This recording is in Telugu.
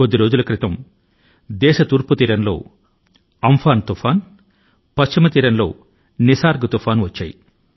కొన్ని రోజుల క్రితం మన తూర్పు తీరం లో అమ్ఫాన్ తుఫాను పశ్చిమ తీరంలో నిసర్గ్ తుఫాను లు వచ్చాయి